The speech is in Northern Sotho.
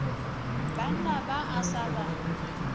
banna ba a sa ba